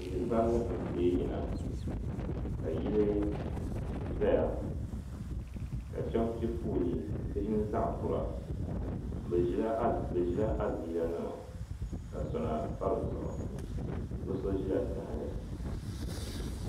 Tihi vari n tee yina ka yili zaya ka shɛba piɛ foolii bihi ni zaɣa kura bɛ ʒila adiila nima ka sona pa di zuɣu bɛ so ʒila tahali.